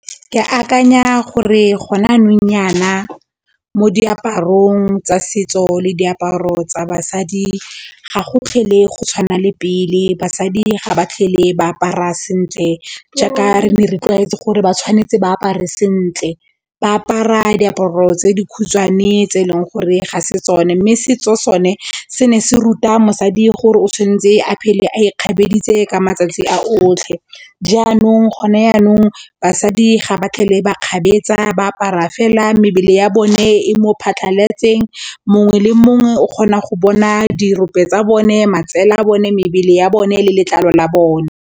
Ke akanya gore gona nong yana mo diaparong tsa setso le diaparo tsa basadi ga go tlhele go tshwana le pele basadi ga ba tlhele ba apara sentle jaaka re ne tlwaetse gore ba tshwanetse ba apare sentle, ba apara diaparo tse dikhutshwane tse e leng gore ga se tsone mme setso sone se ne se ruta mosadi gore o tshwanetse a phele a ikgabeditse ka matsatsi a otlhe jaanong gone yanong basadi ga ba kgabetsa ba apara fela mebele ya bone e mo phatlhaletseng mongwe le mongwe o kgona go bona dirope tsa bone, matsele a bone, mebele ya bone le letlalo la bone.